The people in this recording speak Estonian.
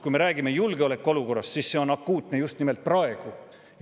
Kui me räägime julgeolekuolukorrast, siis see on akuutne just nimelt praegu.